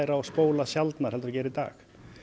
og spóla sjaldnar heldur en í dag